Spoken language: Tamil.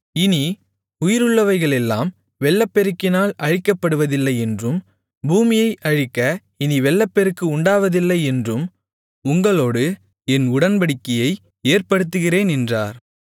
இனி உயிருள்ளவைகளெல்லாம் வெள்ளப்பெருக்கினால் அழிக்கப்படுவதில்லையென்றும் பூமியை அழிக்க இனி வெள்ளப்பெருக்கு உண்டாவதில்லையென்றும் உங்களோடு என் உடன்படிக்கையை ஏற்படுத்துகிறேன் என்றார்